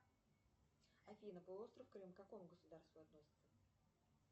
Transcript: афина полуостров крым к какому государству относится